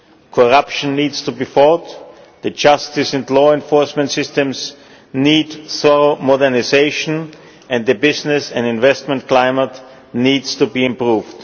Corruption needs to be fought, the justice and law enforcement systems need thorough modernisation, and the business and investment climate needs to be improved.